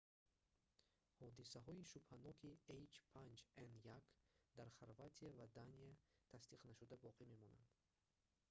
ҳодисаҳои шубҳаноки h5n1 дар хорватия ва дания тасдиқнашуда боқӣ мемонанд